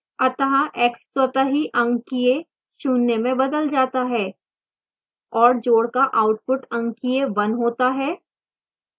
अतः x स्वतः ही अंकीय शून्य में बदल जाता है